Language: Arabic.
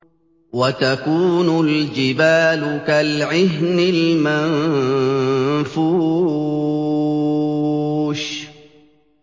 وَتَكُونُ الْجِبَالُ كَالْعِهْنِ الْمَنفُوشِ